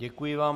Děkuji vám.